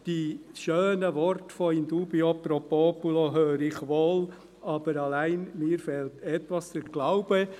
Die schönen Worte «in dubio pro populo» höre ich wohl, allein mir fehlt der Glaube.